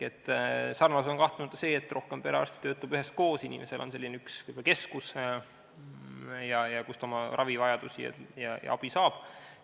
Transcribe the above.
Sarnasus on kahtlemata see, et rohkem perearste töötab üheskoos, inimesel on üks selline keskus, kus ta oma ravi ja abi saab.